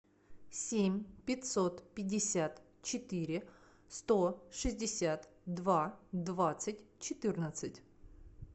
семь пятьсот пятьдесят четыре сто шестьдесят два двадцать четырнадцать